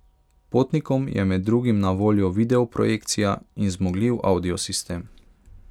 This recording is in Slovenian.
Potnikom je med drugim na voljo video projekcija in zmogljiv audio sistem.